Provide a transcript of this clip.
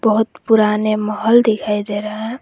बहुत पुराने महल दिखाई दे रहा है।